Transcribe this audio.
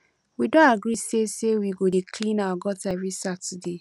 we don agree say say we go dey clean our gutter every saturday